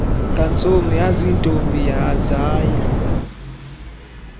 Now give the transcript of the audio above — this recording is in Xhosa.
ngantsomi yaziintombi zaya